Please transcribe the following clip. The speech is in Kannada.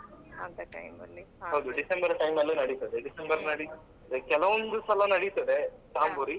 ಹೌದು December time ಅಲ್ಲಿ ನಡೀತದೆ December ನಲ್ಲೆ ಕೆಲವೊಂದು ಸಲ ನಡೀತದೆ ಜಾಂಬೂರಿ.